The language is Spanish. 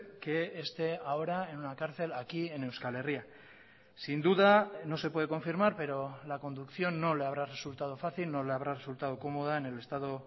que esté ahora en una cárcel aquí en euskal herria sin duda no se puede confirmar pero la conducción no le habrá resultado fácil no le habrá resultado cómoda en el estado